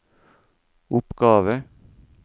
oppgave